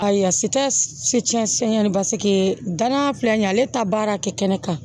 Ayiwa si tɛ se cɛ siɲɛ bake danna filɛ nin ye ale ta baara kɛ kɛnɛ kan